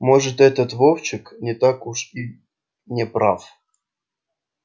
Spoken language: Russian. может этот вовчик не так уж и не прав